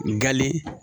Nkali